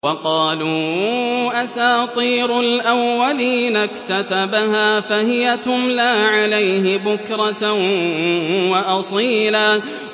وَقَالُوا أَسَاطِيرُ الْأَوَّلِينَ اكْتَتَبَهَا فَهِيَ تُمْلَىٰ عَلَيْهِ بُكْرَةً وَأَصِيلًا